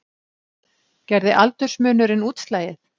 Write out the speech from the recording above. Gerði aldursmunurinn útslagið